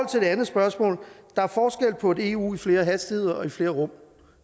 til det andet spørgsmål der er forskel på et eu i flere hastigheder og i flere rum